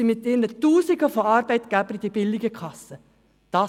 Diese sind mit ihren Tausenden von Arbeitgebern den billigen Kassen beigetreten.